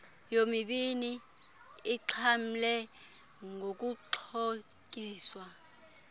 yomibini ixhamle ngokuxhotyiswa